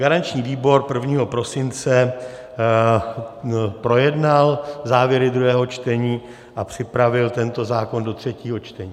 Garanční výbor 1. prosince projednal závěry druhého čtení a připravil tento zákon do třetího čtení.